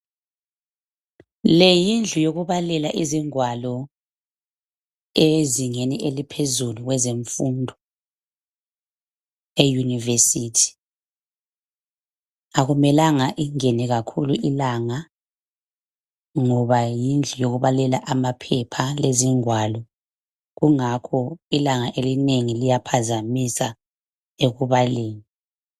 Le yindlu yokubalela izingwalo ezingeni eliphezulu kwezemfundo, e-university. Akumelanga ingene kakhulu ilanga , ngoba yindlu yokubalela amaphepha, lezingwalo, kungakho ilanga elinengi liyaphambanisa ekubaleni.